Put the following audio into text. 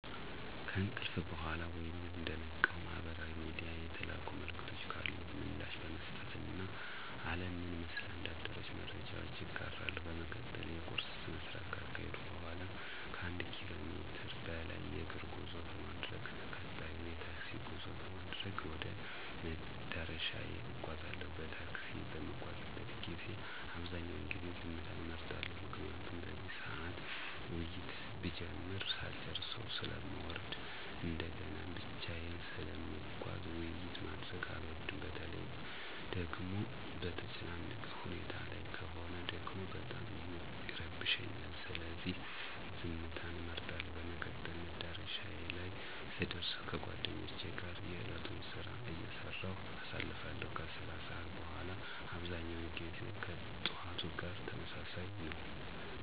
ከእንቅልፍ በኋላ ወይም እንደነቃው ማህበራዊ ሚድያ የተላኩ መልዕክቶች ካሉ ምላሽ በመስጠት እና አለም ምን መስላ እንዳደረች መረጃዎች እጋራለሁ። በመቀጠል የቁርስ ስነስርዓት ካካሄድኩ በኋላ ከአንድ ኪሎ ሜትር በላይ የእግር ጉዞ በማድረግ ቀጣዩን የታክሲ ጉዞ በማድረግ ወደ መዳረሻዬ እጓዛለሁ። በታክሲ በምጓዝበት ጊዜ አብዛኛውን ጊዜ ዝምታን እመርጣለሁ። ምክንያቱም በዚህ ሰዓት ውይይት ብጀምር ሳልጨረሰው ስለምወርድ እንደገናም ብቻየን ስለምጓዝ ውይይት ማድረግ አልወድም። በተለይ ደጎሞ በተጨናነቀ ሁኔታ ላይ ከሆነ ደግሞ በጣም ይረብሸኛል። ስለዚህ ዝምትን እመርጣለሁ። በመቀጠል መዳረሻዬ ላይ ስደር ከጓደኞቼ ጋር የእለቱን ስራ አይሰራሁ አሳልፋለሁ። ከስራ ሰዓት በኋላ አብዛኛው ጊዜ ከጥዋቱ ጋር ተመሳሳይ ነው።